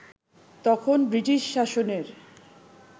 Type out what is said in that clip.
তখন ব্রিটিশ শাসনের